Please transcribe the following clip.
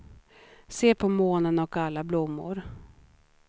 Se på månen och alla blommor.